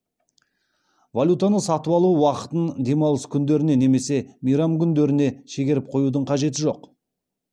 валютаны сатып алу уақытын демалыс күндеріне немесе мейрам күндеріне шегеріп қоюдың қажеті жоқ